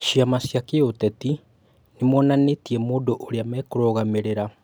Ciama cia kĩũteti nĩ monanĩtie mũndũ ũrĩa mekũrũgamĩrĩra